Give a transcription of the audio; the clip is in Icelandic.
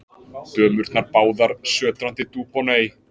Dömurnar báðar sötrandi Dubonnet.